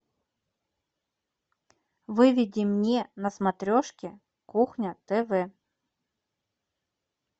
выведи мне на смотрешке кухня тв